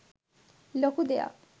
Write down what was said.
ලොකු දෙයක්.